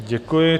Děkuji.